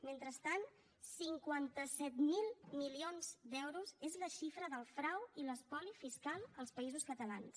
mentrestant cinquanta set mil milions d’euros és la xifra del frau i l’espoli fiscal als països catalans